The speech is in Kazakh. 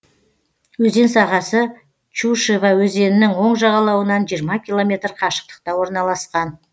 өзен сағасы чушева өзенінің оң жағалауынан жиырма километр қашықтықта орналасқан